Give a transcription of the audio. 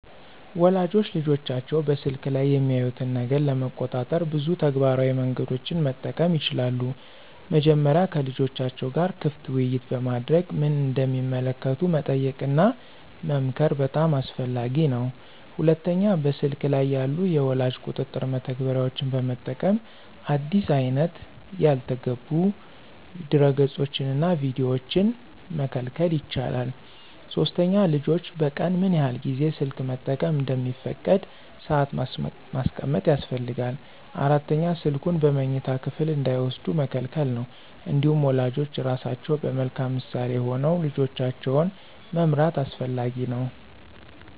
ወላጆች ልጆቻቸው በስልክ ላይ የሚያዩትን ነገር ለመቆጣጠር ብዙ ተግባራዊ መንገዶችን መጠቀም ይችላሉ። መጀመሪያ ከልጆቻቸው ጋር ክፍት ውይይት በማድረግ ምን እንደሚመለከቱ መጠየቅና መመክር በጣም አስፈላጊ ነው። ሁለተኛ በስልክ ላይ ያሉ የወላጅ ቁጥጥር መተግበሪያዎችን በመጠቀም አዲስ አይነት ያልተገቡ ድረገፆችንና ቪዲዮዎችን መከልከል ይቻላል። ሶስተኛ ልጆች በቀን ምን ያህል ጊዜ ስልክ መጠቀም እንደሚፈቀድ ሰአት ማስቀመጥ ያስፈልጋል። አራተኛ ስልኩን በመኝታ ክፍል እንዳይወስዱ መከልከል ነው። እንዲሁም ወላጆች ራሳቸው በመልካም ምሳሌ ሆነው ልጆቻቸውን መምራት አስፈላጊ ነው።